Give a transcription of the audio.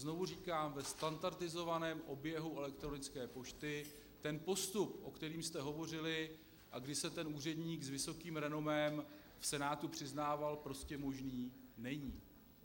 Znovu říkám, ve standardizovaném oběhu elektronické pošty ten postup, o kterém jste hovořili, a kdy se ten úředník s vysokým renomé v Senátu přiznával, prostě možný není.